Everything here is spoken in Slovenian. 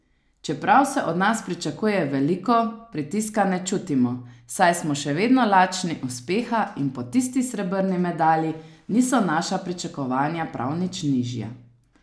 Čeprav se od nas pričakuje veliko, pritiska ne čutimo, saj smo še vedno lačni uspeha in po tisti srebrni medalji niso naša pričakovanja prav nič nižja.